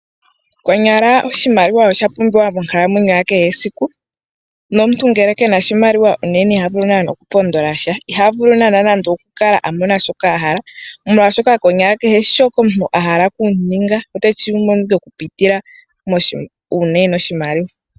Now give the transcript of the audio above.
Konyala oshimaliwa oshapumbiwa monkalamwenyo yakehe esiku ,nomuntu ngele kuna oshimaliwa unene ihavulu naana oku pondolasha . Ihavulu naana nande okukala amona shoka ahala molwaashoka kehe shoka omuntu ahala okuninga oteshi mono ike okupitila moshimaliwa .